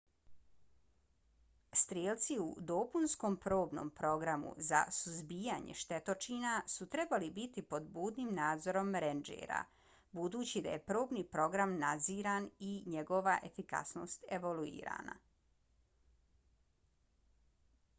strijelci u dopunskom probnom programu za suzbijanje štetočina su trebali biti pod budnim nadzorom rendžera budući da je probni program nadziran i njegova efikasnost evaluirana